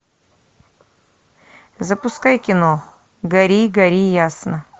запускай кино гори гори ясно